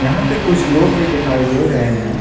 यहां पे कुछ लोग भी दिखाई दे रहे है।